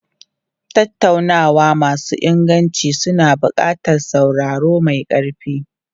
Tattaunawa masu inganci suna buƙatar sauraro mai ƙarfi.